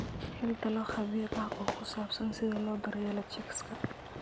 Hel talo khabiir ah oo ku saabsan sida loo daryeelo chicks.